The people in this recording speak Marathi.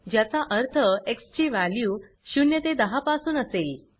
ज्याचा अर्थ एक्स ची वॅल्यू 0 ते 10 पासून असेल